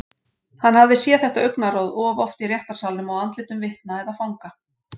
Hann hafði séð þetta augnaráð of oft í réttarsalnum á andlitum vitna eða fanga.